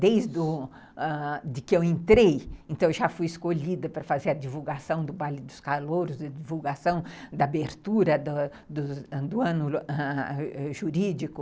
Desde do... que eu entrei, eu já fui escolhida para fazer a divulgação do baile dos calouros, divulgação da abertura da do ano jurídico.